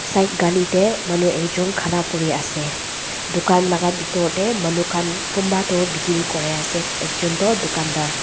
side gally dey manu ekjon khara kuri ase dukan laga bitor dey manu khan kon ba toh bikri kuri ase ek jon tuh dukan dhar.